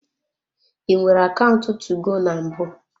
I nwere akaụntụ 2go na mbụ?